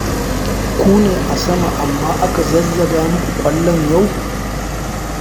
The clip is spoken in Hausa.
Ku ne a sama amma aka zazzaga muku ƙwallon yau?